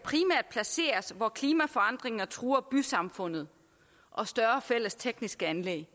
placeres hvor klimaforandringer truer bysamfundet og større fælles tekniske anlæg